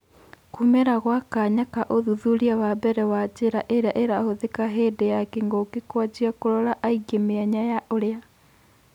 Kuumĩra gwa kanya ka ũthuthuria wa mbere wa njĩra iria irahũthika hĩndĩ ya kĩng'ũki kũanjia kũrora aingĩ mĩanya ya ũrĩa.